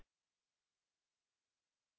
इसे न भूलें